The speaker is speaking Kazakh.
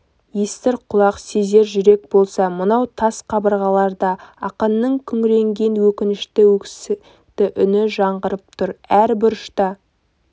естір құлақ сезер жүрек болса мынау тас қабырғаларда ақынның күңіренген өкінішті өксікті үні жаңғырып тұр әр бұрышта